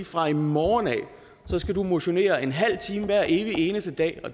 fra i morgen skal motionere en halv time hver evig eneste dag og